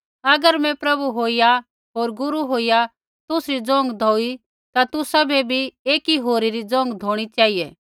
अगर मैं प्रभु होईया होर गुरू होईया तुसरी ज़ोंघा धोई ता तुसाबै बी एकी होरी री ज़ोंघा धोणी चेहिऐ